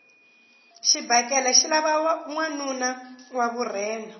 xibakele xi lava nwanuna wa vurhena